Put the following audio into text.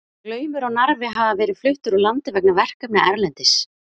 Glaumur og Narfi hafa verið fluttir úr landi vegna verkefna erlendis.